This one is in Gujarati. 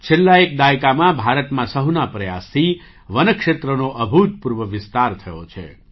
છેલ્લા એક દાયકામાં ભારતમાં સહુના પ્રયાસથી વન ક્ષેત્રનો અભૂતપૂર્વ વિસ્તાર થયો છે